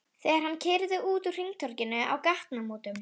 Þegar hann keyrði út úr hringtorginu á gatnamótum